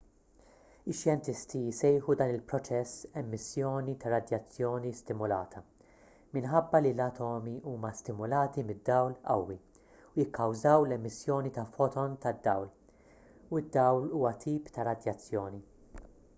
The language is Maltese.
ix-xjentisti jsejħu dan il-proċess emissjoni ta' radjazzjoni stimulata minħabba li l-atomi huma stimulati mid-dawl qawwi u jikkawżaw l-emissjoni ta' foton ta' dawl u d-dawl huwa tip ta' radjazzjoni